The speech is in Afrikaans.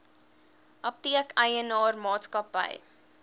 apteek eienaar maatskappy